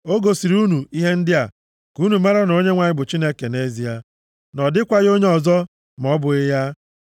O gosiri unu ihe ndị a ka unu mara na Onyenwe anyị bụ Chineke nʼezie, na ọ dịkwaghị onye ọzọ ma ọ bụghị ya.